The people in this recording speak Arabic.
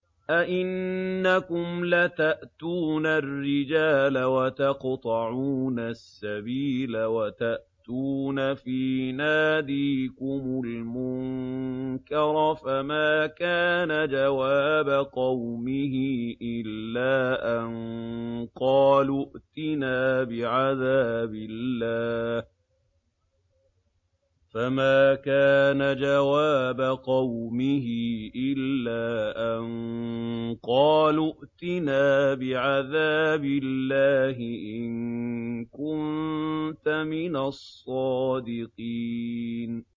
أَئِنَّكُمْ لَتَأْتُونَ الرِّجَالَ وَتَقْطَعُونَ السَّبِيلَ وَتَأْتُونَ فِي نَادِيكُمُ الْمُنكَرَ ۖ فَمَا كَانَ جَوَابَ قَوْمِهِ إِلَّا أَن قَالُوا ائْتِنَا بِعَذَابِ اللَّهِ إِن كُنتَ مِنَ الصَّادِقِينَ